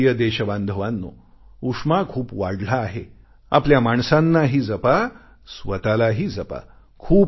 माझ्या प्रिय देशबांधवांनो उष्मा खूप वाढला आहे आपल्या माणसांनाही जपा स्वतःलाही जपा